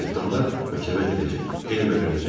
Cırtdanlar məktəbə gedəcək, elm öyrənəcəklər.